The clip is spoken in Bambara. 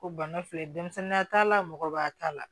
Ko bana filɛ denmisɛnninya t'a la mɔgɔba t'a la